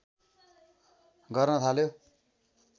गर्न थाल्यो